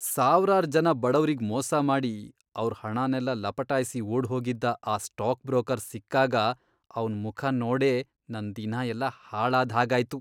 ಸಾವ್ರಾರ್ ಜನ ಬಡವ್ರಿಗ್ ಮೋಸ ಮಾಡಿ ಅವ್ರ್ ಹಣನೆಲ್ಲ ಲಪಟಾಯ್ಸಿ ಓಡ್ಹೋಗಿದ್ದ ಆ ಸ್ಟಾಕ್ ಬ್ರೋಕರ್ ಸಿಕ್ಕಾಗ ಅವ್ನ್ ಮುಖ ನೋಡೇ ನನ್ ದಿನ ಎಲ್ಲ ಹಾಳಾದ್ಹಾಗಾಯ್ತು.